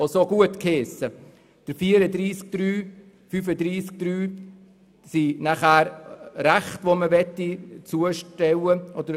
In Artikel 34 Absatz 3 und Artikel 35 Absatz 3 sollen Rechte übertragen werden.